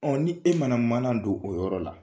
ni e mana mana don o yɔrɔ la.